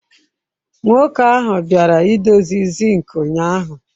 Nwoke ahụ bịara idozi zinc ụnyaahụ.